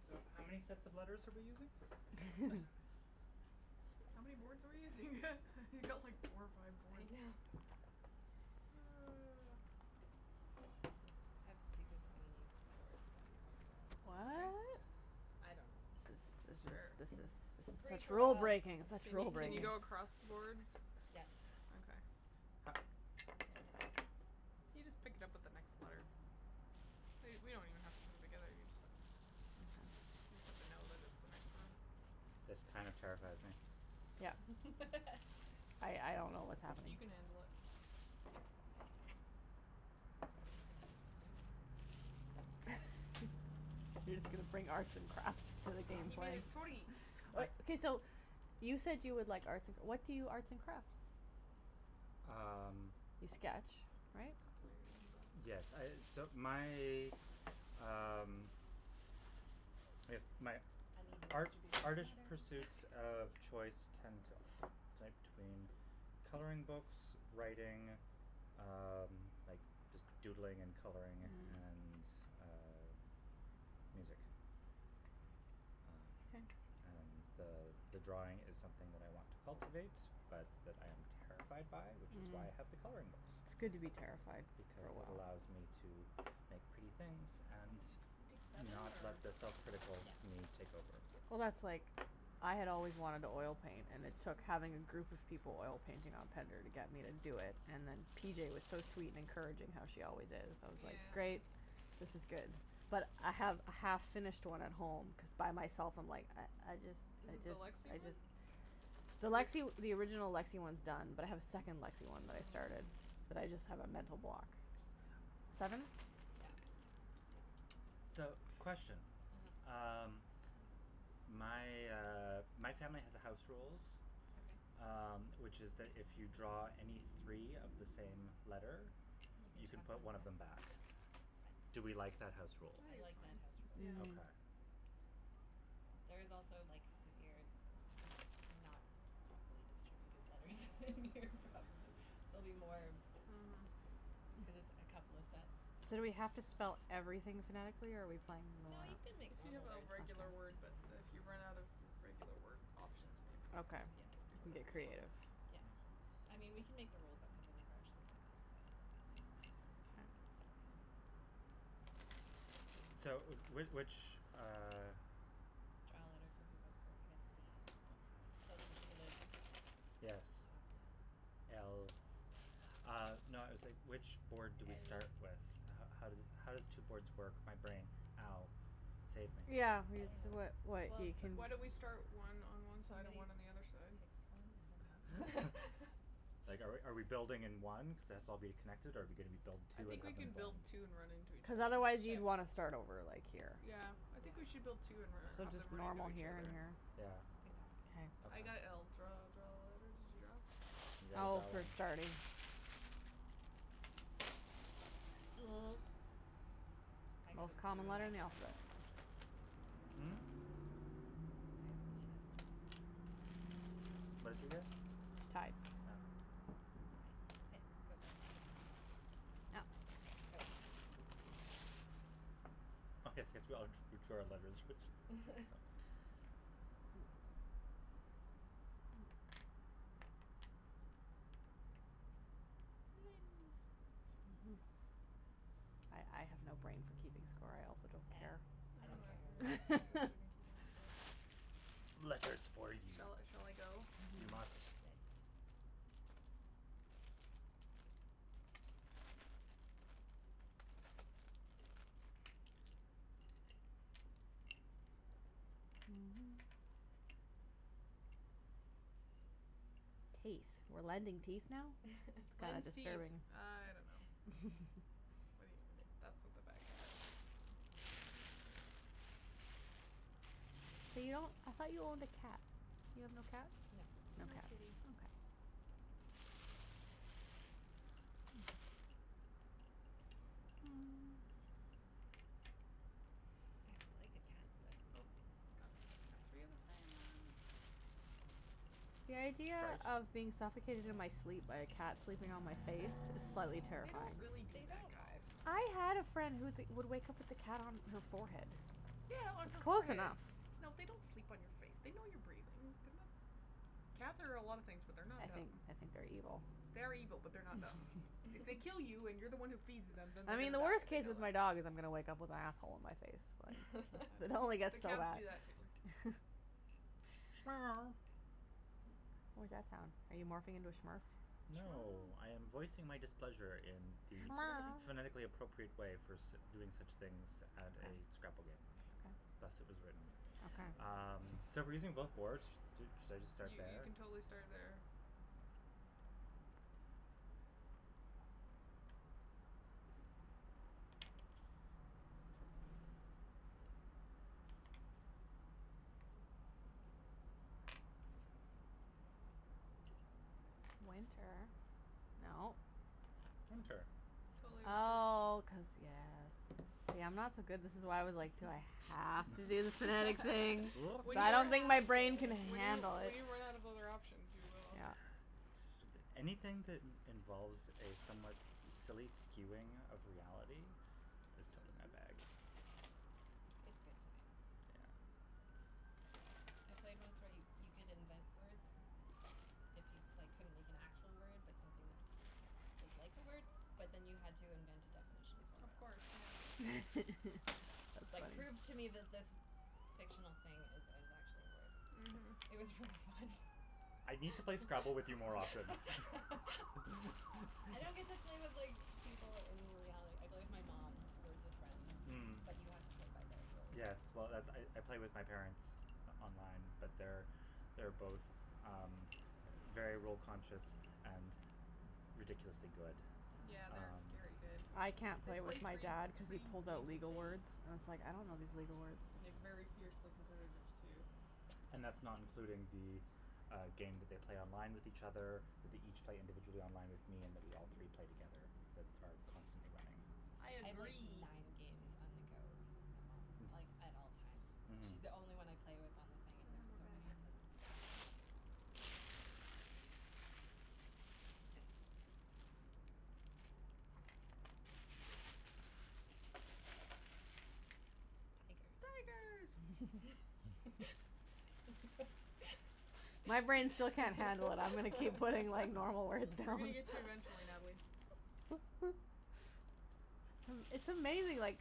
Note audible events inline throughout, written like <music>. So, how many sets of letters are we using? <laughs> <laughs> How many boards are we using? <laughs> You've got like four or five I boards. know. Oh. Let's just have stupid fun on these two boards, then when we're all Okay. What? I don't know, This is this Sure. this is is this this is is free such for rule all. breaking, Can such you rule can you breaking. go across the boards? Yes. Okay. Ho- okay. You just pick it up with the next letter. We we don't even have to put them together, you just have you just have to know that it's the next row. This kind of terrifies me. <laughs> I I don't know what's happening. He can handle it. He's just gonna bring arts and crafts to the game He made plan. a totey. I Okay, so, you said you would like arts and cr- what do you arts and craft? Um You sketch, right? Yes, I, <inaudible> so my, um, I guess my Uneven art- distribution of artish letters. pursuits of choice tend to to between coloring books, writing, um, like just doodling and coloring and, uh, music. Um, and the, uh, the the drawing is something that I want to cultivate, but that I am terrified by, which is why I have the Mhm. coloring books, It's good to be terrified for because a while. it allows me to make pretty things and <noise> We take seven not or let the self critical Yeah. me take over. Well, that's like, I had always wanted to oil paint and it took having a group of people oil painting on pender to get me to do it. And then P J was so sweet and encouraging, how she always is. I was like, Yeah. great, this is good. But I have a half finished one at home cuz by myself I'm like, I I just, I Is it the just, Lexie I one? just. The Lexie the original Lexie one's done, but I have a second Lexie one that I started, Mm. but I just have a mental block. Seven? Yeah. So, question. uh-huh. Um, my, uh, my family has a house rules, Okay. um, which is that if you draw any three of the same letter, You you can can chuck put one one of them back? back. I Do we like that house I think rule? I like that house so, yeah. rule. Okay. Mm. There is also like severe not properly distributed letters in here, probably. There'll be more Mhm. cuz it's a couple of sets. So do we have to spell everything phonetically, or are we playing No, normal you something can make If you normal have a words. regular word, but if you run out of regular word options, maybe. Okay. Yeah. You can do You can whatever get you want. creative. Yeah. Mm. I mean, we can make the rules up cuz I've never actually played this before, so we can just have K fun. So, w- which, uh Draw a letter for who goes fir- I got a b. Closest Okay. to the top Yes. of the alphabet. L Uh no, I was like, which board do we start with? L How how does it how does two boards work? My brain. Ow. Save me. Yeah, I it's don't what know. what Well, you can Why don't we start one on <laughs> one side and somebody one on the other side? picks one, I don't know. <laughs> <laughs> Like, are we are we building in one cuz its all'll be connected, or are we gonna be build I two and think we have them can build blend? two and run into each Cuz other. otherwise you'd Sure. want to start over, like, here. Yeah, I Yeah. think we should build two So, and let let them just run into normal each here and other. here? Yeah? Good call. I Okay. K. got l. Draw, draw a letter. Did you go? You guys Oh, all for in starting. <noise> I got a Most b common when letter I in the grabbed alphabet. one. Mm? I got a b that time. What'd you get? Tie. Yeah? I. Okay, go for it. Oh. Oh. Oh, yes yes, we all d- drew our letters which I saw. <laughs> I I have no brain for keeping score. I also don't Eh, care. I I I don't don't don't know care care if <inaudible> Okay. we're either way. interested in keeping <laughs> score. Letters for you. Shall I shall I go? You must. Yes. <noise> <noise> Teeth? We're lending teeth now? That is Lends <laughs> teeth. disturbing. I don't know. Wait, <laughs> that's what the bag had. Ooh. <inaudible> You I thought you owned a cat. You have no cat? No. No kitty. Okay. <noise> <noise> I would like a cat, but Oh. Oh. Got got three of the same one. The idea Trout? of being suffocated in my sleep Yes. by a cat sleeping on my face is slightly They <laughs> don't terrifying. really do They that, don't all guys. do I had a that. friend who would wake up with a cat on her forehead. Yeah, on It's her close forehead. enough. No, they don't sleep on your face. They know you're breathing. They're not Cats are a lot of things, but they're not I think dumb. I think they're evil. They are evil, but they're not dumb. If they kill you and you're the <laughs> one who <laughs> feeds them, then they're I mean, gonna the die, worst they case know with my that. dog is I'm gonna wake up with asshole on my face. I Like, don't it know. only <laughs> The gets so cats bad. do that, too. <noise> What that sound? Are you morphing into a Smurf? No, I <noise> am voicing my displeasure in the phonetically <noise> appropriate way for <laughs> sit- doing such things at a Scrabble game. Thus Okay. it was written. <laughs> Okay. Um, so we're using both boards? Do should I just start You you there? can totally start there. Winter. No. Winter. Totally winter. Nice. Oh, cuz, yes. See, I'm not so good. This is why I was like, do I have to do the phonetic thing? <laughs> <laughs> We When I you're don't don't think my have <noise> brain can to. When you handle when it. you run out of other options, you will. Yeah. <inaudible> a bit. Anything that in- involves a somewhat silly skewing of reality is totally my bag. It's good times. Yeah. I played once where you could invent words if you, like, couldn't make an actual word but something that was like a word, but then you had to invent a definition for Of it. course, yeah. <laughs> Like, prove to me That's fun. that this <noise> fictional thing is is actually a word. It Mhm. was really fun. I need to play Scrabble with you more often. <laughs> I don't get to play <laughs> with, like, people <laughs> in reality. I play with my mom, Words With Friends, Mm. but you have to play by their rules. Yes. Well, that's I I play with my parents on- online, but they're, they're both, um, very rule conscious and ridiculously good. Yeah, they're Ah. Um scary good. I can't They play with play my three dad cuz he three pulls out games a legal day. words and it's like, I don't know Oh, these legal my words. gosh. And they're very fiercely competitives, too. <noise> And that's not including the, uh, game that they play online with each other, that they each play individually online with me and that we all three play together that are constantly running. I I have, like, agree. nine games on the go with my mom, Hmm. like, at all times. Mhm. She's the only one I play with on the thing and there's so many of <inaudible> them. Tigers. Tigers. My brain still can't handle it. I'm gonna keep putting like normal words We're gonna down. get to you eventually, Natalie. <laughs> <laughs> It's amazing, like,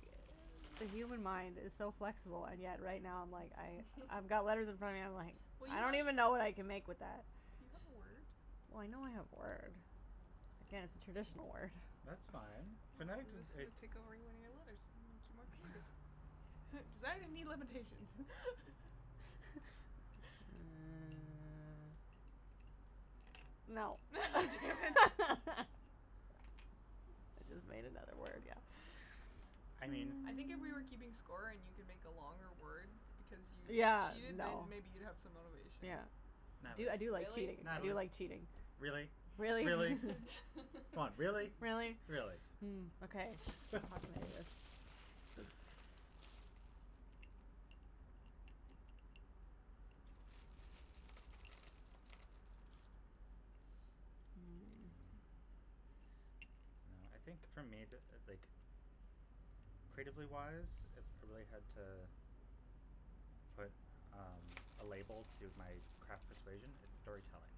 the human mind is so flexible, and yet right now I'm like I I've got letters in front of me, I'm like <laughs> Well, I you don't even when know what I can make with that. You got a word. Well, I know I have a word. Yeah, it's a traditional word. That's fine. Phonetic doesn't Just it gonna take <inaudible> your letters, make you more creative. Designers need limitations. <laughs> Mm. No. <laughs> Damn it. <laughs> <laughs> I just made another word, yeah. I mean I think if we were keeping score and you <noise> can make a longer word because you Yeah, cheated, then no. maybe you'd have some motivation. Yeah. I do I do like Natalie. Really? cheating, I Natalie, do like cheating. really? Really? Really? <laughs> Come on, really? Really? Really? <laughs> Mm, okay. <laughs> <inaudible> <noise> Mm. Mm. Well, I think for me, the like, creatively wise, if I really had to put, um, a label to my craft persuasion, it's storytelling.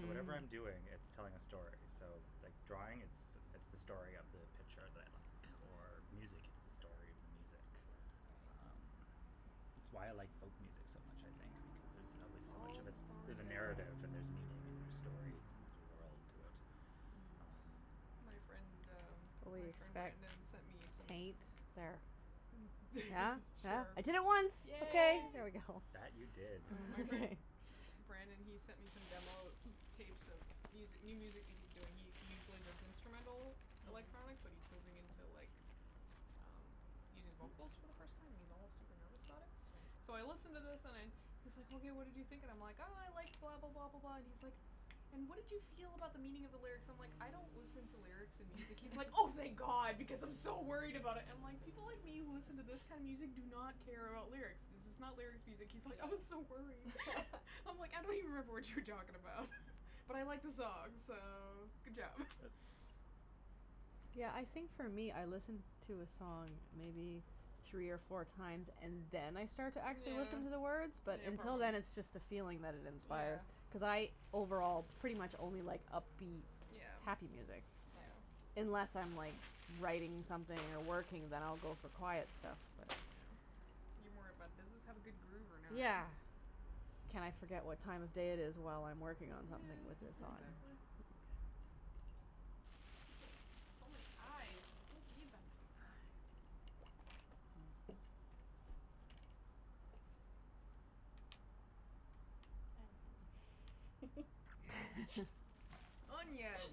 So whatever I'm doing, it's telling a story. So, like, drawing, it's it's the story of the picture that I like or music it's the story of the music. Um, Right. it's why I like folk music so much, I think, because there's always so much All of the it. story There's a <inaudible> narrative and there's meaning in their stories and there's a world to it. Mm. Um My friend, um, my friend Brandon sent me <inaudible> some Taint. There. Yeah? <laughs> Yeah? I did it Sure. once. Okay, Yay. Yay. there we go. That, you did. Uh my friend <laughs> <laughs> Brandon, he sent me some demo tapes of music new music that he's doing. He he usually does instrumental Mm. electronic, but he's moving into, like, um, using vocals for the first time and he's all super nervous about it. So I Right. listen to this and I'm he's like, hey, what did you think, and I'm like, I like blah, blah, blah, blah, blah, and he's like, and what did you feel about the meaning of the lyrics? So I'm, like, I don't listen to lyrics in music. He's like, oh, thank <laughs> god because I'm so worried about it. I'm like, people like me who listen to this kind of music do not care about lyrics, this is not lyrics music. He's like, I was so Yeah. worried. <laughs> I'm like, I don't even remember <laughs> what you were talking about, but I like the song, so, good job. Yeah, I think for me I listen to a song maybe three or four times and then I start to actually Yeah. listen to the words, but Yeah, until probably. then it's just the Mhm. feeling that it inspire. Yeah. Cuz I overall pretty much only like upbeat, Yeah. happy music, Right. Yeah. unless I'm like writing something or working, then I'll go for quiet stuff, but you know. Yeah. You're more about does this have a good groove or not? Yeah. Can I forget what time of day it is while I'm working on something Yeah, with this song. exactly. <laughs> Look at that. So many i's. I don't need that many i's. Onion. <laughs> <laughs> <laughs> Onion.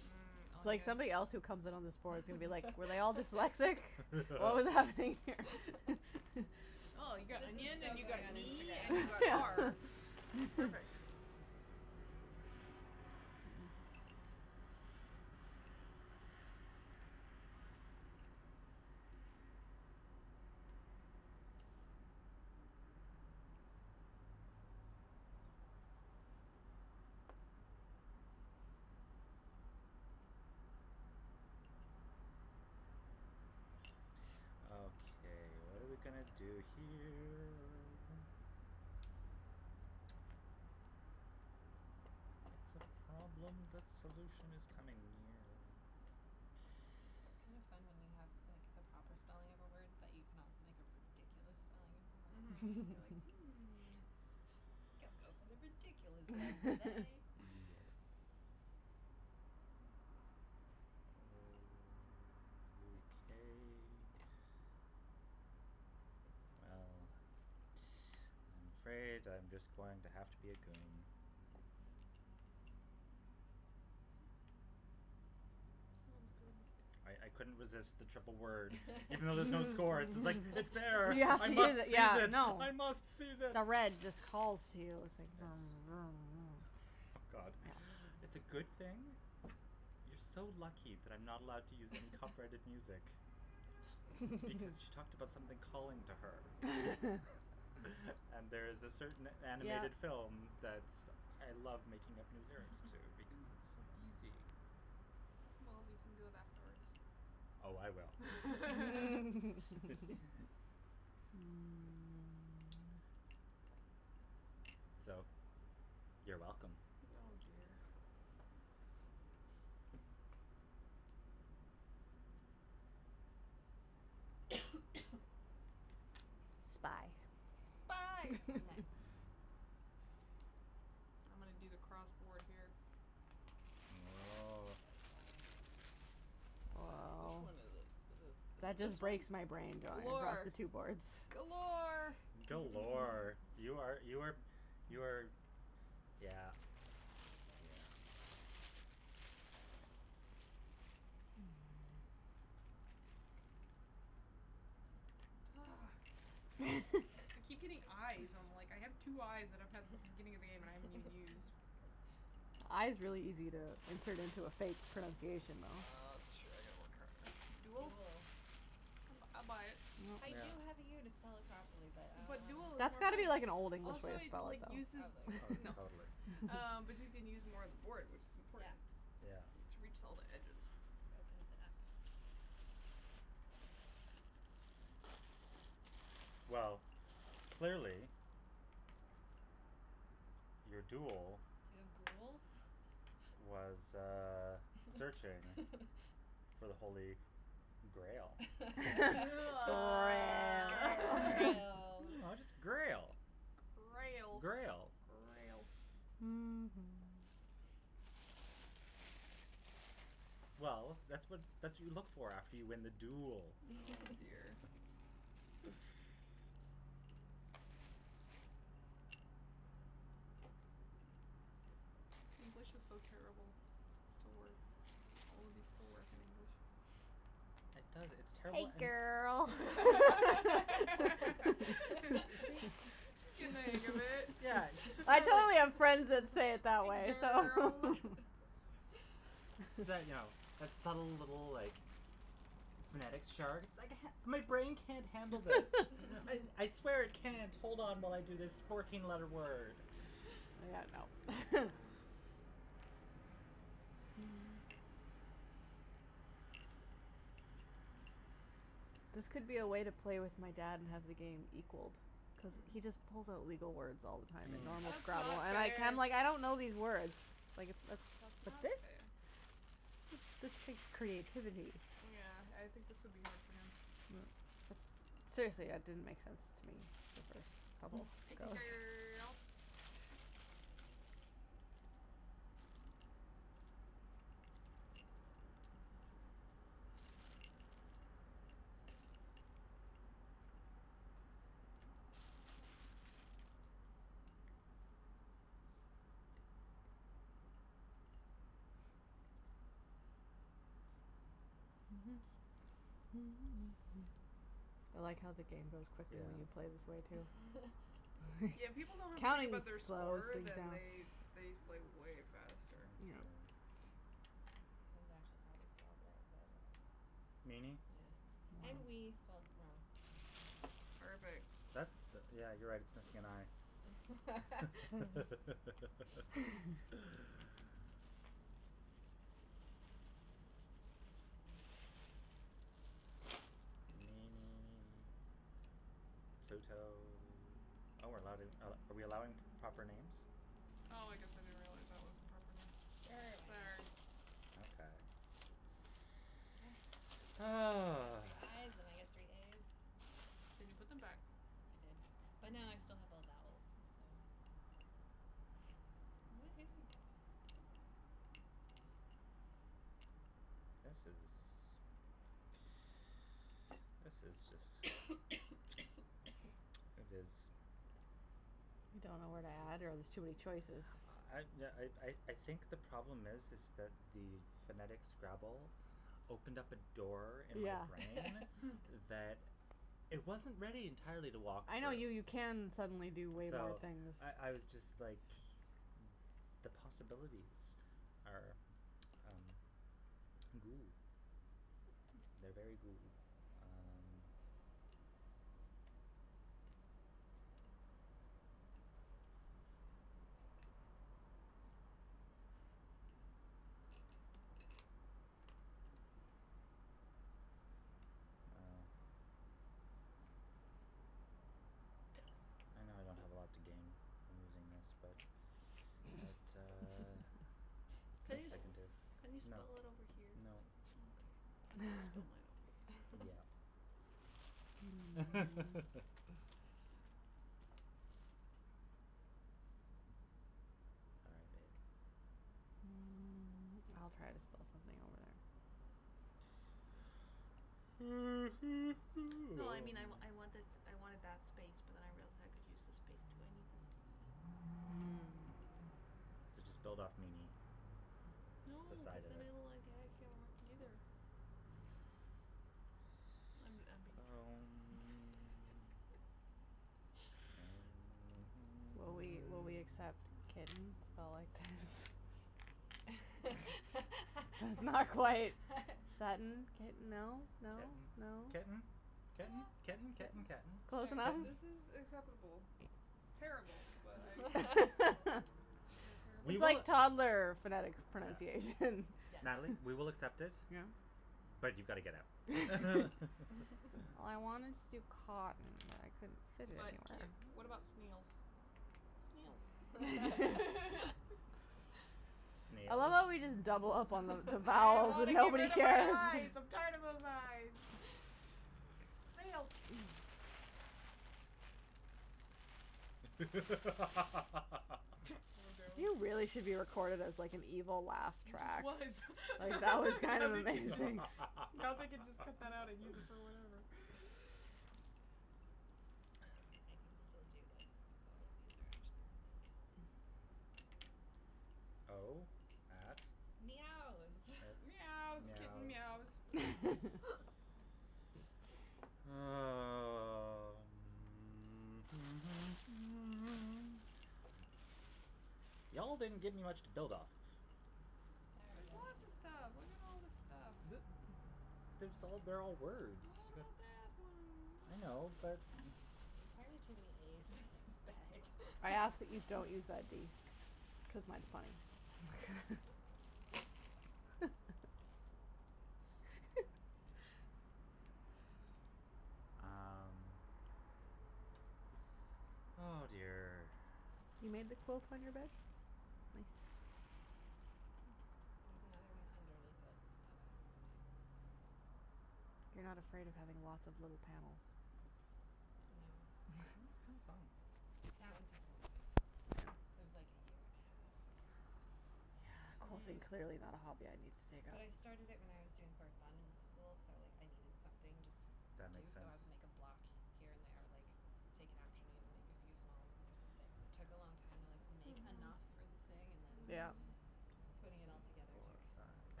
Mmm, It's like onions. somebody else who comes in on this board is gonna be like, were they all dyslexic? <laughs> What was happening <laughs> here? <laughs> <laughs> Oh, you got This is onion so and you got going on knee Instagram and you got afterwards. are. That's perfect. <laughs> Okay, what are we gonna do here? It's a problem that solution is coming near. It's kind of <noise> fun when you have, like the proper spelling of a word but you can also make a ridiculous spelling of the word. Mhm, you're like, <laughs> hmm. I think I'll go for the ridiculous one today. <laughs> Yes. <laughs> Okay. Well, <noise> I'm afraid I'm just going to have to be a goon. Sounds good. I I couldn't resist the triple word. Even though there's no score, it's like, it's there, Yeah, I must <laughs> seize yeah, it, no. I must seize it. No, red just calls you, it's like Yes. <noise> God, it's a good thing. You're so lucky that I'm not allowed to use any copyrighted music <laughs> because she talked about <laughs> something calling to her. <laughs> <laughs> And there's a certain Yeah. animated film that's I love making up new lyrics to <laughs> because it's so easy. Well, we can do it afterwards. Oh, I will. <laughs> <laughs> <laughs> <laughs> Mm. So, you're welcome. Oh, dear. <noise> <noise> <noise> Spy. Spy. Mm. Nice. <laughs> I'm gonna do the cross board here. Oh. Go for it. Wh- which Woah. one is it? Is it is That it this just one? breaks my brain going across Galore. the two boards. Galore. Galore. You are <laughs> you are you are yeah, Beautiful. yeah. <noise> Ah. I keep <laughs> getting i's. I'm, like, I have two i's that I've had since the beginning of the game that I haven't even used. <laughs> I is really easy to insert into a fake pronunciation, though. That's true. I gotta work harder. Duel? Duel. I bu- I buy it. I Yeah. do have the u to spell it properly, but I But duel don't is That's more got to fun. be wanna. like an Old English way Also, to it spell like it, uses though. Probably. Oh, No, totally. um, but you can <laughs> use more of the board, which is Yeah. important. Yeah. To reach all the edges. Opens it up. Well, clearly your duel <inaudible> was, uh, searching <laughs> for the holy grail. <laughs> Oh. <laughs> Grail. <laughs> No, just grail. Grail. Grail. Grail. Mhm. <noise> Well, that's what that's what you look for after you win the duel. Oh, dear. <laughs> <laughs> English is so terrible. It still works. All of these still work in English. It does, it's <laughs> Hey, terrible and girl. You see, <laughs> She's getting she's the hang of it. Yeah, <laughs> she's just I kind of totally have friends that say it that <laughs> way, so Girl. <noise> <laughs> So you know, that <laughs> subtle little, like, phonetics chart. My brain can't handle this. I I swear it can't hold on while I do this fourteen letter word. Yeah, no. <laughs> <laughs> This could be a way to play with my dad and have the game equalled cuz he just pulls Mm. out legal words all the time in Mm. normal That's Scrabble not and I'm like, fair. I'm like I don't know these words. Like, it's That's not specific. fair. This takes creativity. Yeah, I think this would be hard for him. Yeah. Seriously, it didn't make sense to me the first couple Hey, go's. girl. <laughs> <noise> I like how the game goes quickly Yeah. when you play this way, too. <laughs> Yeah, when people don't have to think Counting about their just slows score, things then down. they they play way faster. That's That's Yeah. true. true. This one's actually probably spelled right, but I don't know. Meanie. Yeah, and wee spelled wrong. Perfect. That's the, yeah, you're right, it's missing an i. <laughs> <laughs> <laughs> Meanie. Pluto. Oh, we're allowing are we're allowing p- proper names? Oh, I guess I didn't realize that was a proper name. Sure, why not? Sorry. Okay. <noise> I got Ah. three i's and I got three a's. Did you put them back? I did, Mm. but now I still have all vowels, so Woohoo. This is This is just <noise> <noise> It is <noise> Don't know where to add, or there's too many choices? I yeah I I I think the problem is is that the phonetic Scrabble opened up a door in my Yeah. brain Mm. that <laughs> it wasn't ready entirely to walk I through. know, you you can suddenly do way more So, things. I I was just, like, the possibilities are, um, goo. Hmm. They're very goo. Um Well. I know I don't have a lot to gain from using this, but it, uh, <laughs> it's <laughs> the Can best you I just can do. can you No. spell it over here? No. Okay. I guess I'll spell mine <laughs> over here. Yeah. <laughs> <laughs> Sorry, babe. Mm. I'll try to spell something over there. No, I mean, I I want <noise> this, I wanted that space but then I realized I could use this space, too. I need this e. <noise> So just build off meanie, No, the cuz side <laughs> of then it. it'll, like, it can't work, either. I'm I'm being Um a <inaudible> <laughs> Will we will we accept <noise> kitten spelled like this? That's not quite. Sudden, kitten, no, <laughs> no, Kitten, no? ketten, Yeah. ketten, ketten, ketten. Ketten. Sure. Close enough? Ketten. This is acceptable. Terrible, but I accept it. You're <laughs> <laughs> terrible. We It's will like toddler phonetics Yeah. pronunciation. Yes. Natalie, we will accept it, Yeah but you've got to get out. I wanted to <laughs> <laughs> to cotton, but I couldn't fit it But k anywhere. what about snails? Snails. <laughs> <laughs> <laughs> I love Snails? how we just double up on the the I vowels want and to get nobody rid of my cares. i's. I'm tired of those i's. <laughs> <laughs> Snails. <laughs> <laughs> Oh, no. You really should be recorded as, like, an evil laugh He just track. was. Like, that was <laughs> kind Now of they can just amazing. now they can just cut that out and use it for whatever. <laughs> Okay, I can still do this cuz all of these are actually words. O at Meows. at Meows, kitten meows. meows. <laughs> <laughs> Um. <noise> Y'all didn't give me much to build off of. Sorry, There's yo. lots of stuff. Look at all this stuff. D- there's all they're all words. What about that one? I And that know, one but There's entirely too many a's in this bag. I <laughs> ask that we don't use that d because I might find <laughs> <laughs> <laughs> Um. <noise> Oh, dear. You made the quilt on your bed? Nice. There's another one underneath it that I also made. You're not afraid of having lots of little panels? No. Sounds kinda fun. That one took a long time, though. That <inaudible> was like a year and a half. Quilting clearly Mm. not a hobby I need to take up. But I started it when I was doing correspondence school, so like I needed something just to That do, makes so sense. I would make a block here and there, like, take an afternoon, make a few small ones or something. Took a long time to, like, make Mhm. Mhm. enough for the thing and then Yeah. putting it all Three, together took, four,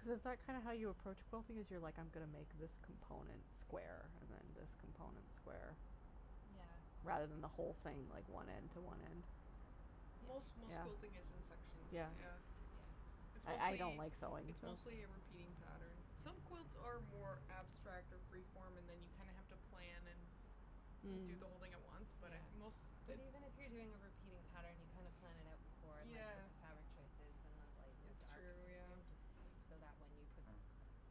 Cuz is that kind of how you approach quilting, is you're like, I'm gonna make this component square and then this component square Yeah. rather than the whole thing, like, one end to one end? Yeah. Most most Yeah? school thing is in sections, Yeah. yeah. Yeah. It's I I don't mostly, like sewing, it's so mostly a repeating pattern. Some quilts are more abstract or freeform and then you kinda have to plan and do Mm. the whole thing at once, but I Yeah, most but even if you're doing a repeating pattern, you kind of plan it out before and, like, pick Yeah. the fabric choices and then lighten and It's dark and true, everything yeah. just so that when you put Hmm.